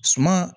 Suma